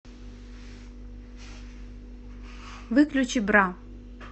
выключи бра